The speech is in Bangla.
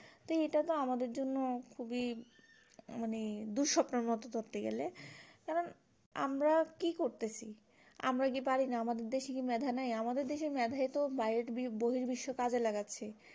তো এটা তো আমাদের জন্য খুবই মানে দুঃস্বপ্নের এর মতো ধরতে গেলে কারণ আমরা কি করতেছি আমরা কি পারিনা আমাদের দেশ এ কি মেধা নাই আমাদের দেশ এর মেধায় তো বাইরে বহুল বিশ্বে কাজ এ লাগাচ্ছে